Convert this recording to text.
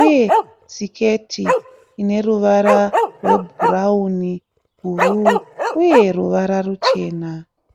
uye siketi ineruvara rwebhurauni, bhuru uye ruvara ruchena.